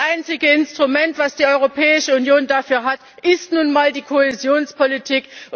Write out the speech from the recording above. Das einzige Instrument, das die Europäische Union dafür hat, ist nun einmal die Kohäsionspolitik.